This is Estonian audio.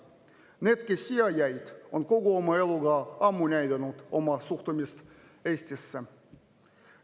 Need, kes siia jäid, on kogu oma eluga ammu näidanud oma suhtumist Eestisse.